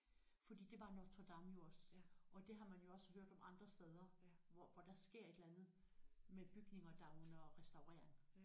Fordi det var Notre Dame jo også og det har man jo også hørt om andre steder hvor hvor der sker et eller andet med bygninger der er under restaurering